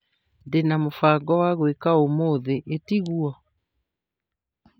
Ndina mũbango wa gwĩka ũmũthĩ, ĩtigwo?